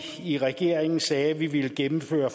i regeringen sagde at vi ville gennemføre